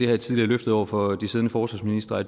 jeg tidligere løftet over for de siddende forsvarsministre at